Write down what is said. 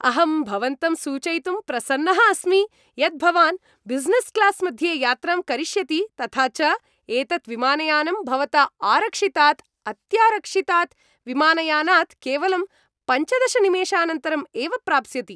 अहं भवन्तं सूचयितुं प्रसन्नः अस्मि यत् भवान् ब्युसिनेस् क्लास् मध्ये यात्रां करिष्यति तथा च एतत् विमानयानम् भवता आरक्षितात् अत्यारक्षीतात् विमानयानात् केवलं पञ्चदश निमेषानन्तरम् एव प्राप्स्यति।